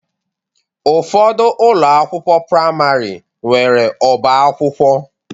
Ụfọdụ ụlọ akwụkwọ praịmarị nwere ọbá akwụkwọ